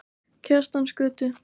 Kjartansgötu